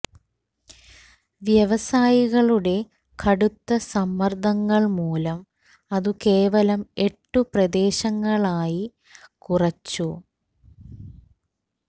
വ്യവസായികളുടെ കടുത്ത സമ്മര്ദ്ദങ്ങള് മൂലം അതു കേവലം എട്ടു പ്രദേശങ്ങളായി കുറച്ചു